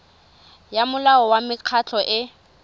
ya molao wa mekgatlho e